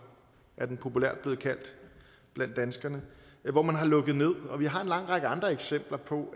er den populært blevet kaldt blandt danskerne hvor man har lukket ned og vi har en lang række andre eksempler på